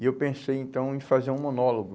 E eu pensei, então, em fazer um monólogo.